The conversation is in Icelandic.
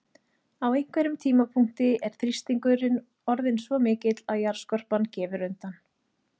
Á einhverjum tímapunkti er þrýstingur orðinn svo mikill að jarðskorpan gefur undan.